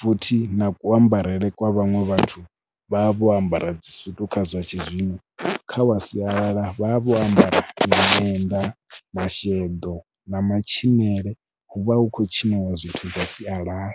futhi na kuambarele kwa vhaṅwe vhathu vha vha vho ambara dzisutu kha zwa tshizwino, kha wa sialala vha vha vho ambara miṅwenda, masheḓo na matshilele hu vha hu khou tshiniwa zwithu zwa sialala.